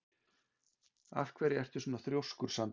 Af hverju ertu svona þrjóskur, Sandur?